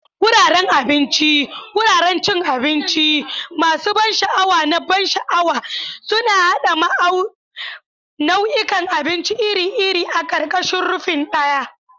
Wuraren abinci, wuraren cin abinci masu ban sha'awa na ban sha'awa, suna haɗa nau'ikan abinci iri-iri a ƙarƙashin rufin ɗaya.